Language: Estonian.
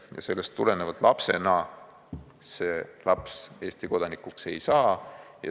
Ja sellest tulenevalt lapsena see laps Eesti kodanikuks ei saa.